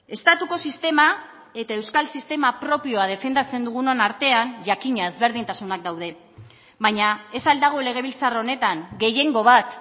estatuko sistema eta euskal sistema propioa defendatzen dugunon artean jakina ezberdintasunak daude baina ez al dago legebiltzar honetan gehiengo bat